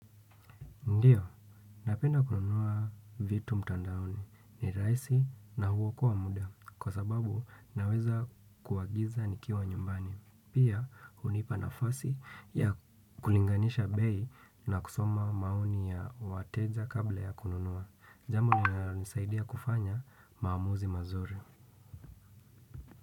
Ndiyo, napenda kununuwa vitu mtandaoni. Ni rahisi na huokoa muda. Kwa sababu, naweza kuagiza nikiwa nyumbani. Pia, hunipa nafasi ya kulinganisha bei na kusoma maoni ya wateja kabla ya kununua. Jambo ninalonisaidia kufanya maamuzi mazuri.